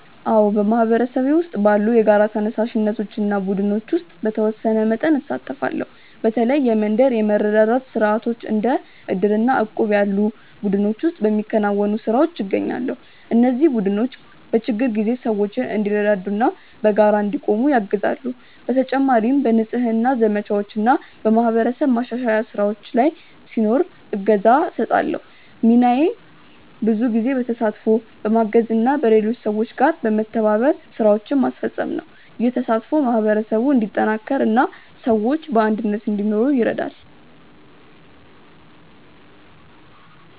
አዎ፣ በማህበረሰቤ ውስጥ ባሉ የጋራ ተነሳሽነቶች እና ቡድኖች ውስጥ በተወሰነ መጠን እሳተፋለሁ። በተለይ የመንደር የመረዳዳት ስርዓቶች እንደ ዕድር እና እቁብ ያሉ ቡድኖች ውስጥ በሚከናወኑ ስራዎች እገኛለሁ። እነዚህ ቡድኖች በችግር ጊዜ ሰዎች እንዲረዳዱ እና በጋራ እንዲቆሙ ያግዛሉ። በተጨማሪም በንጽህና ዘመቻዎች ወይም በማህበረሰብ ማሻሻያ ስራዎች ላይ ሲኖር እገዛ እሰጣለሁ። ሚናዬ ብዙ ጊዜ በተሳትፎ፣ በማገዝ እና በሌሎች ሰዎች ጋር በመተባበር ስራዎችን ማስፈጸም ነው። ይህ ተሳትፎ ማህበረሰቡን እንዲጠናከር እና ሰዎች በአንድነት እንዲኖሩ ይረዳል።